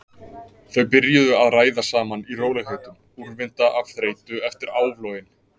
Þau byrjuðu að ræða saman í rólegheitum, úrvinda af þreytu eftir áflogin.